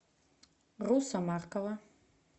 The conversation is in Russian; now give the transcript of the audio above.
руса маркова